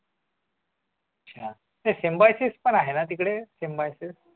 symboysis पण आहे ना तिकडे symboysis